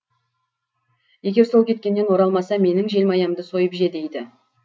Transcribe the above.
егер сол кеткеннен оралмаса менің желмаямды сойып же дейді